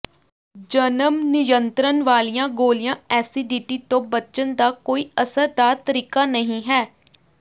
ਜਨਮ ਨਿਯੰਤਰਣ ਵਾਲੀਆਂ ਗੋਲੀਆਂ ਐਸਟੀਡੀ ਤੋਂ ਬਚਣ ਦਾ ਕੋਈ ਅਸਰਦਾਰ ਤਰੀਕਾ ਨਹੀਂ ਹੈ